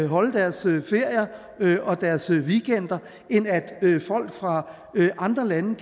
holde deres ferie og deres weekender end at folk fra andre lande